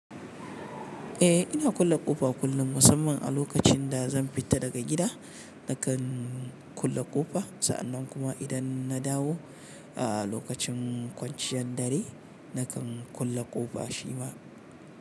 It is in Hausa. Eh ina kulle ƙofa kullum musamman a lokacin da zan fita daga gida nakan kulle ƙofa sa'annan kuma idan na dawo a lokacin kwanciyan dare nakan kulle ƙofa shi ma.